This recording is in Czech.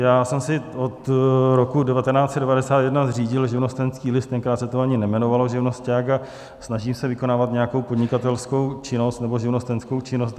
Já jsem si od roku 1991 zřídil živnostenský list, tenkrát se to ani nejmenovalo živnosťák, a snažím se vykonávat nějakou podnikatelskou činnost nebo živnostenskou činnost.